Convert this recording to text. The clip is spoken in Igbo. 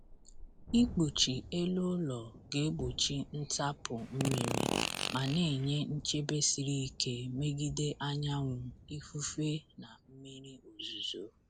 Ikpuchi elu ụlọ ga-egbochi ntapu mmiri ma na-enye nchebe siri ike megide anyanwụ, ifufe, na mmiri ozuzo.